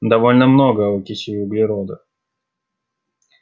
довольно много окиси углерода